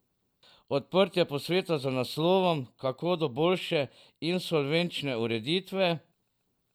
Odprtje posveta z naslovom Kako do boljše insolvenčne ureditve?